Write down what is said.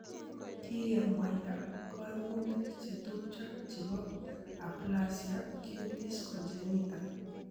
Kikemwaita koimutik chetupcho chebo aplasia cutis congenita.